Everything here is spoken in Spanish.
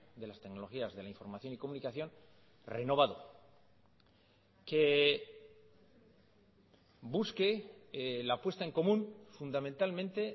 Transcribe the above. de las tecnologías de la información y comunicación renovado que busque la puesta en común fundamentalmente